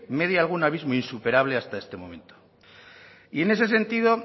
media algún abismo insuperable hasta este momento y en ese sentido